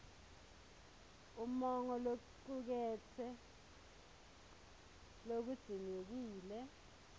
umongo locuketse lokudzingekile